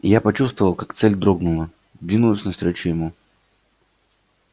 и я почувствовал как цель дрогнула двинулась навстречу ему